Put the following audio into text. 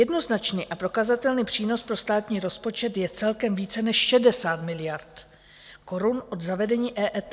Jednoznačný a prokazatelný přínos pro státní rozpočet je celkem více než 60 miliard korun od zavedení EET.